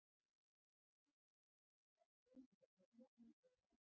Í því sambandi hefur rétturinn til að deyja mikilvæga merkingu.